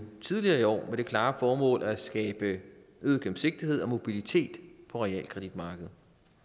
tidligere i år med det klare formål at skabe øget gennemsigtighed og mobilitet på realkreditmarkedet